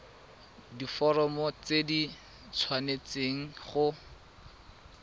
diforomo tse di tshwanesteng go